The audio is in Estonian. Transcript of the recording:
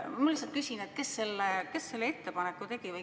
Ma lihtsalt küsin, kes selle ettepaneku tegi.